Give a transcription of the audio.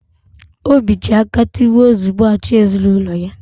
Obi ji aka tigbo zugbo, achị ezinaụlọ ya